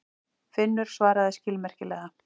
Finnur svaraði skilmerkilega.